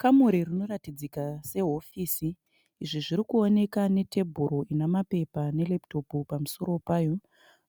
Kamuri rinoratidzika sehofisi izvi zviri kuwoneka netebhoro ina mapepa nereputopu pamusoro payo.